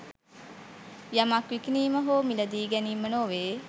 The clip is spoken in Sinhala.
යමක් විකිණීම හෝ මිළදී ගැනීම නොවේ